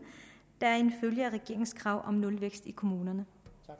der er en følge af regeringens krav om nulvækst i kommunerne